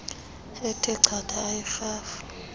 ethe chatha eyirhafu